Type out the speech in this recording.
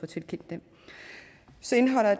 tilkendt dem så indeholder